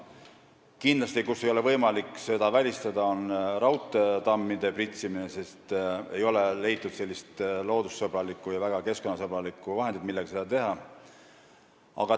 Koht, kus kindlasti ei ole võimalik pritsimist välistada, on raudteetammid, sest ei ole leitud mingit loodus- ja keskkonnasõbralikku vahendit, millega seda teha.